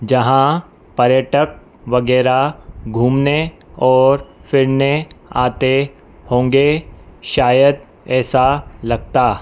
यहां पर्यटक वगैरह घूमने और फिरने आते होंगे शायद ऐसा लगता।